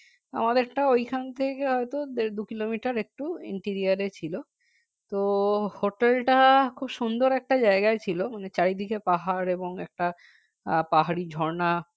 আমাদের একটা ঐখান থেকে হয়তো দেড় দুই kilometer একটু interior ছিল তো hotel টা খুব সুন্দর একটা জায়গায় ছিল মানে চারিদিকে পাহাড় এবংএকটা পাহাড়ি ঝর্না